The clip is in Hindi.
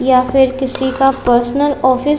या फिर किसी का पर्सनल ऑफिस --